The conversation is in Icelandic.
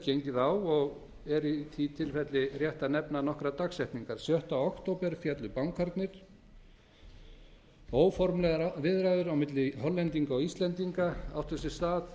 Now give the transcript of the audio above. gengið á og er í a tilfelli rétt að nefna nokkrar dagsetningar sjötta október féllu bankarnir óformlegar viðræður á milli hollendinga og íslendinga áttu sér stað